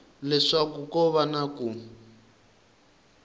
leswaku ko va na ku